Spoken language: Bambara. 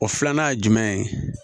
O filanan ye jumɛn ye